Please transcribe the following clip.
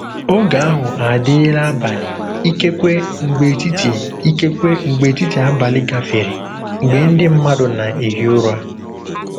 Ògé ahụ àdị́là àbàlị̀, ìkèkwé mgbè ètìtì ìkèkwé mgbè ètìtì àbàlị̀ gàfèré, mgbè ndí mmadù nà-èhí ụ̀rà.